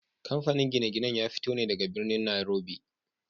Kamfanin gine-ginen ya fito ne daga birnin Nairobi.